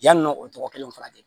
Yann'o tɔgɔ kelen fana kɛ